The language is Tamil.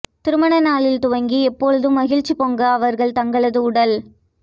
திருமண நாளில் துவங்கி எப்போதும் மகிழ்ச்சி பொங்க அவர்கள் தங்களது உடல்